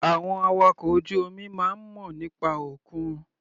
Àwọn awakọ̀ ojú omi máa ń mọ̀ nípa òkun.